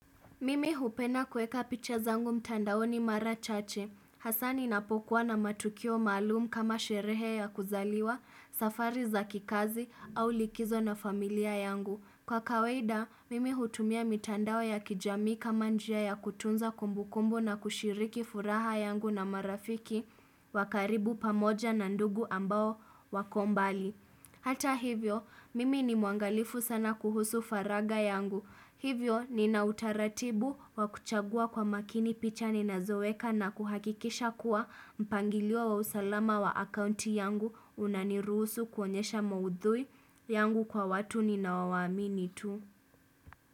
Mimi hupenda kuweka picha zangu mtandaoni mara chache. Hasa ninapokuwa na matukio maalum kama sherehe ya kuzaliwa, safari za kikazi au likizo na familia yangu. Kwa kawaida, mimi hutumia mitandao ya kijamii kama njia ya kutunza kumbukumbu na kushiriki furaha yangu na marafiki wa karibu pamoja na ndugu ambao wako mbali. Hata hivyo, mimi ni muangalifu sana kuhusu faraga yangu. Hivyo nina utaratibu wa kuchagua kwa makini picha ninazoweka na kuhakikisha kuwa mpangilio wa usalama wa akaunti yangu unaniruhusu kuonyesha maudhui yangu kwa watu ninao waamini tu.